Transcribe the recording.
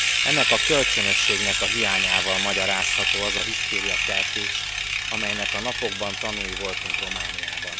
Ennek a kölcsönösségnek a hiányával magyarázható az a hisztériakeltés, amelynek a napokban tanúi voltunk Romániában.